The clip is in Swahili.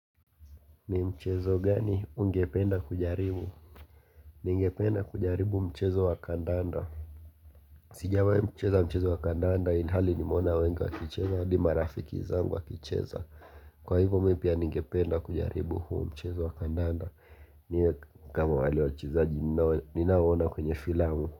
Ni mchezo gani ungependa kujaribu ningependa kujaribu mchezo wa kandanda sijawahi kucheza mchezo wa kandanda ilihali nimeona wengi wakicheza hadi marafiki zangu wakicheza kwa hivyo mimi pia ningependa kujaribu huo mchezo wa kandanda ni kama wale wachezaji ninaowaona kwenye filamu.